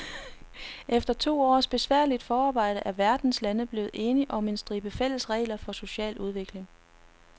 Efter to års besværligt forarbejde er verdens lande blevet enige om en stribe fælles regler for social udvikling.